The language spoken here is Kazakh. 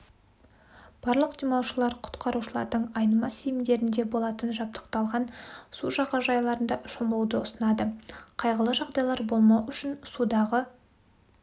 барлық демалушылар құтқарушылардың айнымас зейіндерінде болатын жабдықталған су жағажайларында шомылуды ұсынады қайғылы жағдайлар болмау үшін судағы